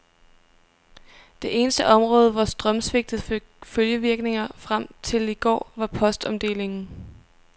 Det eneste område, hvor strømsvigtet fik følgevirkninger frem til i går, var postomdelingen.